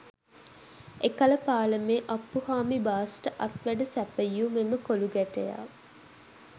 එකල පාලමේ අප්පුහාමි බාස්ට අත්වැඩ සැපයූ මෙම කොලූ ගැටයා